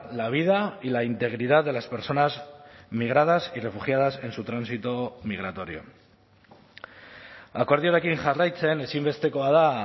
la vida y la integridad de las personas migradas y refugiadas en su tránsito migratorio akordioarekin jarraitzen ezinbestekoa da